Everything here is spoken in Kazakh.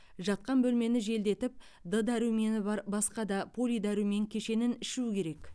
жатқан бөлмені желдетіп д дәрумені бар басқа да полидәрумен кешенін ішу керек